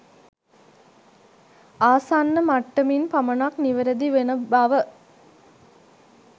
ආසන්න මට්ටමින් පමණක් නිවැරදි වන බව